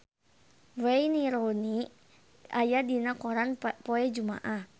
Wayne Rooney aya dina koran poe Jumaah